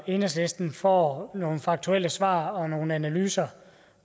enhedslisten får nogle faktuelle svar og nogle analyser